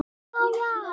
Þú lýgur því